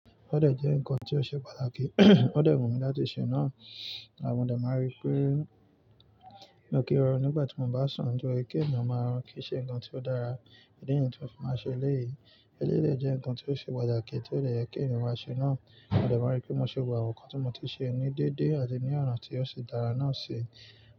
Ó dẹ̀ jẹ́ ǹkan tí ó ṣe pàtàkì, ó dẹ̀ wù mí láti ṣe náà àmọ́ dẹ̀ máa rí pé inú kí rọnù nígbà tí mo bá sùn ju èké mi máa rùn kí í ṣe ǹkan tí ó dára nítorí ohun tí ó fi máa ṣe eléèyì. Eléèyì jẹ́ ǹkan tí ó ṣe pàtàkì tí ó le yẹ kí ẹ̀mí wà ṣe náà, a dẹ̀ máa rí pé mo ṣe wù àwọn nǹkan tí mo ti ṣe ní dédé àti ní ọ̀nà tí ó ṣe dára náà ṣe.